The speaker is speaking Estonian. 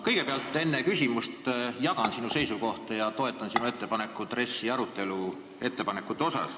Enne küsimust ma ütlen, et ma jagan sinu seisukohta ja toetan sinu ettepanekuid RES-i arutelu kohta.